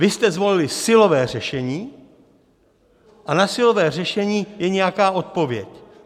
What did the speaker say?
Vy jste zvolili silové řešení a na silové řešení je nějaká odpověď.